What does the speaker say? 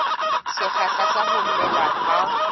sekgahla sa ho mela ha